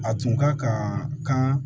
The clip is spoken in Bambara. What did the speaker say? A tun ka kan